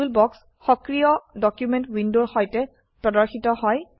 toolbox সক্ৰিয় document উইন্ডোৰ সৈতে প্ৰদৰ্শিত হয়